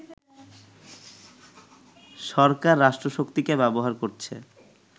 সরকার রাষ্ট্রশক্তিকে ব্যবহার করছে